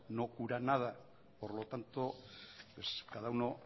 no cura nada por lo tanto cada uno